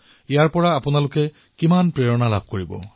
ইয়াৰ দ্বাৰা সকলোৱে অনুপ্ৰাণিত হব